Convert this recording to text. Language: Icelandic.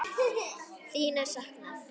Þín er saknað.